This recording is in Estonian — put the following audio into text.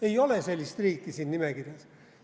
Ei ole sellist riiki siin nimekirjas.